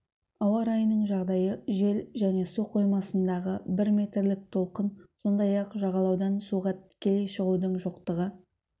ауа-райының жағдайы жел және су қоймасындағы бір метрлік толқын сондай-ақ жағалаудан суға тікелей шығудың жоқтығы